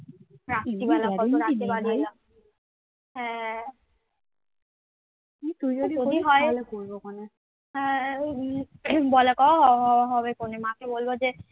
হ্যাঁ ওই বলাকওয়া হবেক্ষণে মাকে বলবো যে